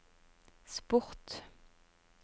sport